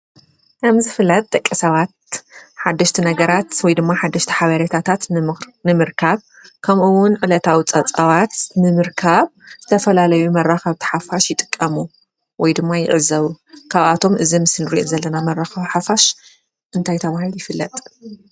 ከም ዝፍለጥ ደቂ ሰባት ሓሽቲ ነገራት ወይ ድማ ሓደሽቲ ሓበሬታት ንምርካብ ከምኡ እውን ዕለታዊ ፀብፃባት ንምርካብ ዝተፈላለዩ መራኽብቲ ሓፋሽ ይጥቀሙ ወይ ድማ ይዕዘቡ። ካብኣቶም እዚ ምስሊ እንሪኦ ዘለና መራኸቢ ሓፋሽ እንታይ ተባሂሉ ይፍለጥ?